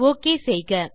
okay செய்க